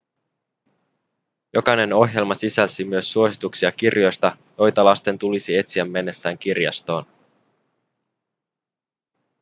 jokainen ohjelma sisälsi myös suosituksia kirjoista joita lasten tulisi etsiä mennessään kirjastoon